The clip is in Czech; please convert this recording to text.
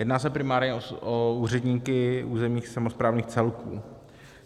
Jedná se primárně o úředníky územních samosprávných celků.